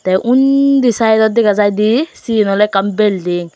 te undi saidot dega jai di siyen awley ekkan belding .